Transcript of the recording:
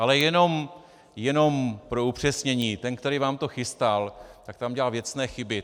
Ale jenom pro upřesnění, ten, který vám to chystal, tak tam udělal věcné chyby.